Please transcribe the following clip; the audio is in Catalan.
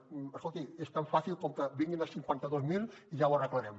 escolti és tan fàcil com que vinguin els cinquanta dos mil i ja ho arreglarem